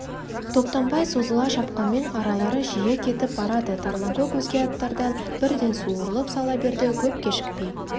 топтанбай созыла шапқанмен аралары жиі кетіп барады тарланкөк өзге аттардан бірден суырылып сала берді көп кешікпей